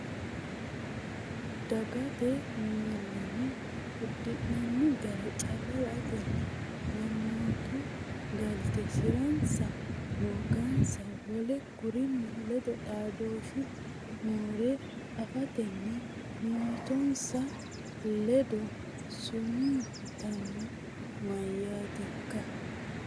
Dagate miillano uddi’nanni gara calla la”atenni mannootu galte si’ransanna hoogansanna wole kurinni ledo xaadooshshu noore afatenni mimmitinsa ledo sumuu yitanno, mayyaankeeti?